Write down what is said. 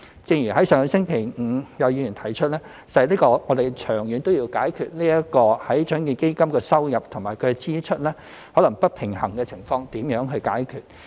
正如上星期五有議員提出，實在我們長遠也要思考如何解決獎券基金收入和支出可能不平衡的情況。